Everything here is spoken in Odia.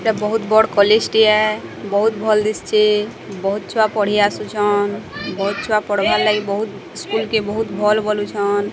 ଏଟା ବୋହୁତ ବଡ଼ କଲେଜ୍ ଟିଏ ବୋହୁତ ଭଲ୍ ଦିଶ୍ଚି ବୋହୁତ ଛୁଆ ପଢ଼ି ଆସୁଛନ ବୋହୁତ ଚୁଆ ପଢ଼ବାର୍ ବୋହୁତ ସ୍କୁଲ୍ କେ ବୋହୁତ ଭଲ୍ ବୋଲୁ ଛନ୍।